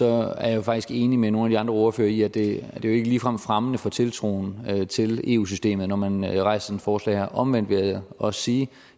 er jeg faktisk enig med nogle af ordførere i at det ikke ligefrem er fremmende for tiltroen til eu systemet når man rejser sådan et forslag her omvendt vil jeg også sige at